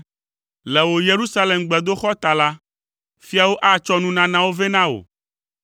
Le wò Yerusalem gbedoxɔ ta la, fiawo atsɔ nunanawo vɛ na wò.